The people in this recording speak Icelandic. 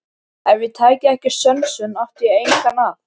Ef ég tæki ekki sönsum átti ég engan að.